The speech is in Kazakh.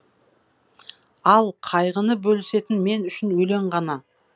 ал қайғыны бөлісетін мен үшін өлең ғана